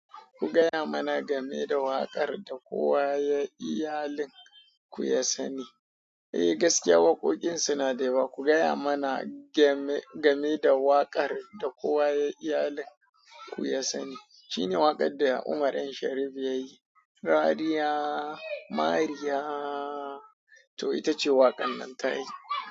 Ku gaya mana game da waƙar da kowa ya iyalin ku ya sani. Eh gaskiya waƙoƙin suna da yawa. Ku gaya mana game, game da waƙar da kowa ya iyalin ku ya sani. Shi ne waƙar da Umar M. Sharif ya yi. Mariya, Mariya. To ita ce waƙar nan ta yi.